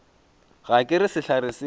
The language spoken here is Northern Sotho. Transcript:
ga ke re sehlare se